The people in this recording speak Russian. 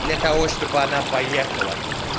для того чтобы она поехала